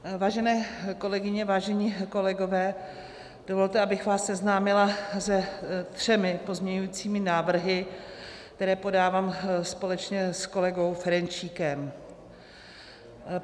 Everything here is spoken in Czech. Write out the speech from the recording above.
Vážené kolegyně, vážení kolegové, dovolte, abych vás seznámila se třemi pozměňovacími návrhy, které podávám společně s kolegou Ferjenčíkem.